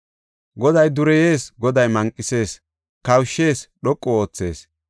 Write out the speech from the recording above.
Goday dureyees; Goday manqethees; kawushshees; dhoqu oothees.